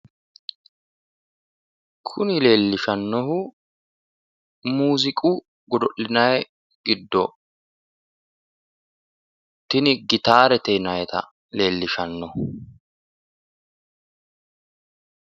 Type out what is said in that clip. Kuni leellishannohu muuziiqu godo'linannihu giddo tini gitaarete yinannita leellishannoho.